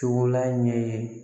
Cogo la ɲɛ ye